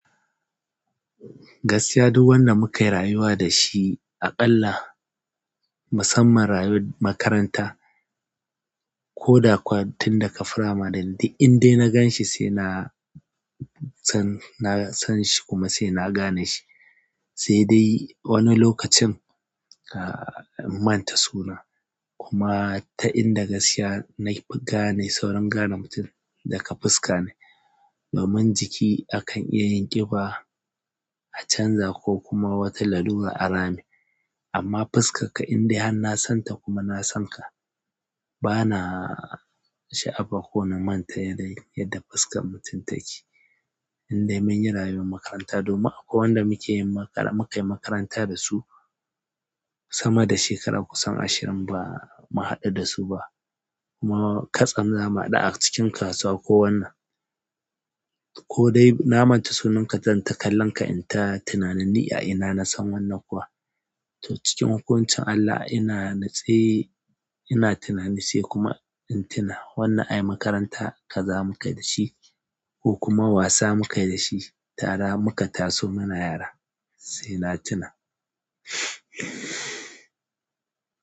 Gaskiya duk wanda muka yi rayuwa da shi aƙalla musamman rayuwar makaranta ko dakuwa tun daga firamari indai na gan shi sai na san, na san shi kuma sai na gane shi. Sai dai wani lokacin in manta suna, kuma ta inda gaskiya nafi gane nafi saurin gane mutum daga fuska ne domin jiki akan iya yin ƙiba, a canza ko kuma wata lalura a rame amma fuskarka indai har nasan ka kuma nasan ka ba na sha'afa ko na manta yadda, yadda fuskar mutum take. Indai mun yi rayuwar makaranta domin akwai wanda muke yin makara, muka yi makaranta da su sama da shekaru kusan ashirin ba mu haɗu da su ba. Kuma katsam mu haɗu a cikin kasuwa ko wannan. Ko dai na manta sunanka zan ta kalla ka in ta tunanin ni a ina na san wannan kuwa. To cikin hukuncin Allah ina nitse ina tunanin sai kuma in tuna wannan ayi makaranta kaza mukai da shi ko kuma wasa muka yi da shi tare muka taso muna yara sai na tuna.